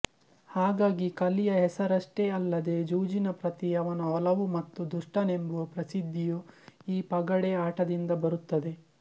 ಹಾಗಾಗಿ ಕಲಿಯ ಹೆಸರಷ್ಟೇ ಅಲ್ಲದೆ ಜೂಜಿನ ಪ್ರತಿ ಅವನ ಒಲವು ಮತ್ತು ದುಷ್ಟನೆಂಬುವ ಪ್ರಸಿದ್ಧಿಯು ಈ ಪಗಡೆ ಆಟದಿಂದ ಬರುತ್ತದೆ